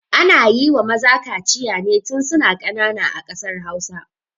Ana yiwa maza kaciya ne tun suna ƙanana a ƙasar hausa